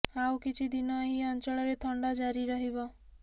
ଆଉ କିଛି ଦିନ ଏହି ଅଞ୍ଚଳରେ ଥଣ୍ଡା ଜାରି ରହିବ